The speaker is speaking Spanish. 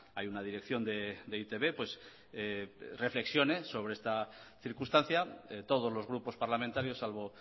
hay una dirección de e i te be reflexione sobre esta circunstancia todos los grupos parlamentarios salvo